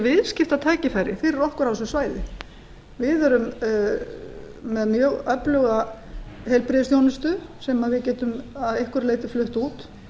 viðskiptatækifæri fyrir okkur á þessu svæði við erum með mjög öfluga heilbrigðisþjónustu sem við getum að einhverju leyti flutt út